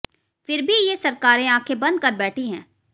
फिर भी ये सरकारें आंखें बंद कर बैठी है